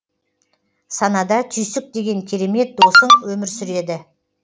санада түйсік деген керемет досың өмір сүреді